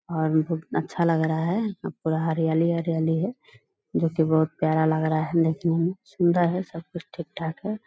और च्छा लग रहा है पूरा हरियाली-हरियाली है जो की बहुत प्यारा लग रहा है देखने मे। सुंदर है सब कुछ ठीक-ठाक है।